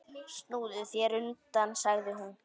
Snúðu þér undan, sagði hún.